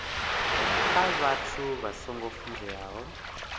kha vhathu vha songo funzeaho